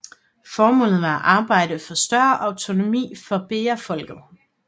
Formålet var at arbejde for større autonomi for bejafolket